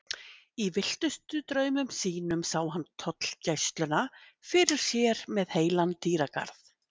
Í villtustu draumum sínum sá hann tollgæsluna fyrir sér með heilan dýragarð.